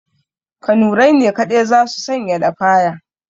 Kanurai ne kaɗai za su sanya lafaya